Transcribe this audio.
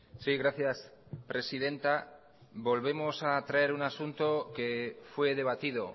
sí gracias presidenta volvemos a traer un asunto que fue debatido